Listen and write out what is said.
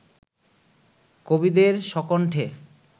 কবিদের স্বকণ্ঠে